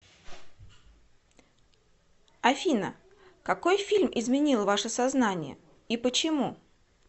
афина какой фильм изменил ваше сознание и почему